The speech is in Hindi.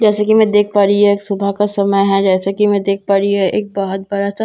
जैसे कि मैं देख पा रही यह सुबह का समय है जैसे कि मैं देख पा रही एक बहोत बड़ा सा--